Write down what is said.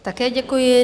Také děkuji.